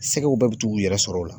Sɛgɛw bɛɛ bi t'u yɛrɛ sɔrɔ o la.